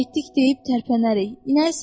Getdik deyib tərpənərik.